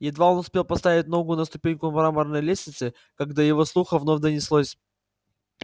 едва он успел поставить ногу на ступеньку мраморной лестницы как до его слуха вновь донеслось